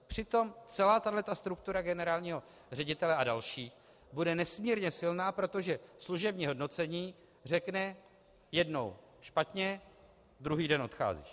Přitom celá tahle struktura generálního ředitele a dalších bude nesmírně silná, protože služební hodnocení řekne: jednou špatně, druhý den odcházíš.